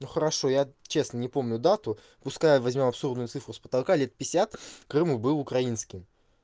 ну хорошо я честно не помню дату пускай возьмёт абсурдную цифру с потолка лет пятьдесят крым был украинским